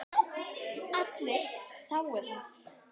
Allir sáu það.